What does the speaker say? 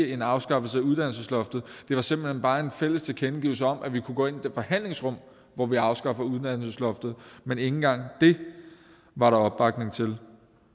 en afskaffelse af uddannelsesloftet men simpelt hen bare om en fælles tilkendegivelse om at vi kunne gå ind i det forhandlingsrum hvor vi afskaffer uddannelsesloftet men ikke engang det var der opbakning til